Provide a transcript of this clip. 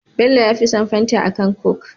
Bello yafi son fanta akan coke